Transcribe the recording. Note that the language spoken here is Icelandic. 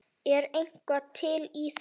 Er eitthvað til í því?